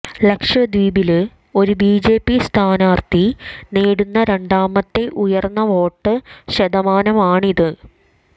ലക്ഷദ്വീപില് ഒരു ബിജെപി സ്ഥാനാര്ത്ഥി നേടുന്ന രണ്ടാമത്തെ ഉയര്ന്ന വോട്ട് ശതമാനമാണിത്